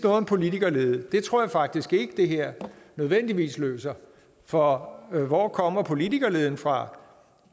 om politikerlede det tror jeg faktisk ikke det her nødvendigvis løser for hvor kommer politikerleden fra